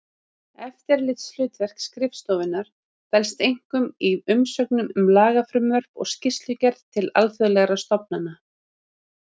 Eftirlitshlutverk skrifstofunnar felst einkum í umsögnum um lagafrumvörp og skýrslugerð til alþjóðlegra stofnana.